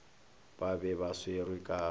ba be ba swerwe ka